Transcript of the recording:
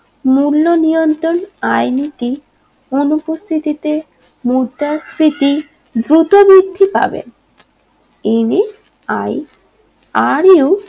মূল্য নিয়ন্ত্রণ আয় নীতি অনুপস্থিতিতে মুদ্রাস্ফীতি দ্রুত বৃদ্ধি পাবে m a i r u